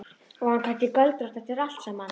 Var hún kannski göldrótt eftir allt saman?